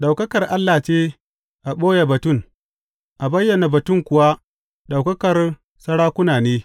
Ɗaukakar Allah ce a ɓoye batun; a bayyana batun kuwa ɗaukakar sarakuna ne.